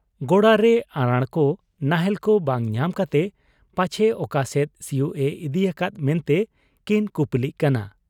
ᱜᱚᱲᱟᱨᱮ ᱟᱨᱟᱬᱠᱚ ᱱᱟᱦᱮᱞᱠᱚ ᱵᱟᱝ ᱧᱟᱢ ᱠᱟᱛᱮ ᱯᱟᱪᱷᱮ ᱚᱠᱟᱥᱮᱫ ᱥᱤᱭᱩᱜ ᱮ ᱤᱫᱤ ᱟᱠᱟᱫ ᱢᱮᱱᱛᱮ ᱠᱤᱱ ᱠᱩᱯᱩᱞᱤᱜ ᱠᱟᱱᱟ ᱾